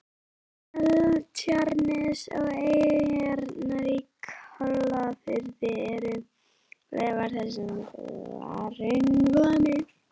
Seltjarnarnes og eyjarnar í Kollafirði eru leifar þessa mikla hraunflæmis.